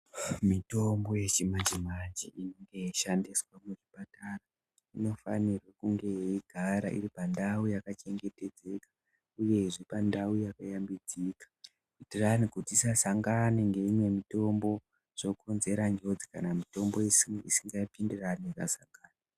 Mitombo yechimanje manje yeyishandiswa muzvipatara, inofanirwe kunge eyigara iripandawu yakachengetedzeka, uyezve pandawo yakayambidzika, kuitirane kuti dzisasangane ngeyimwe mitombo. Dzokonzera njozi kana mitombo isingapindirane ikasangana.